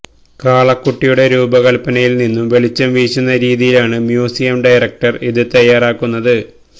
കാളക്കുട്ടിയുടെ രൂപകല്പനയിൽ നിന്ന് വെളിച്ചം വീശുന്ന രീതിയിലാണ് മ്യൂസിയം ഡയറക്ടർ ഇത് തയ്യാറാക്കുന്നത്